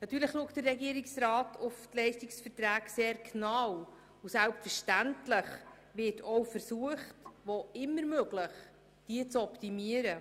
Natürlich schaut der Regierungsrat sehr genau auf die Leistungsverträge, und selbstverständlich wird auch versucht, diese wo immer möglich zu optimieren.